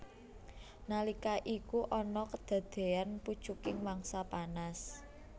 Nalika iku ana kedadeyan pucuking mangsa panas